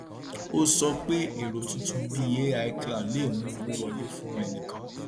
ó sọ pé èrò tuntun bíi ai cloud lè mú owó wọlé fún ẹnìkan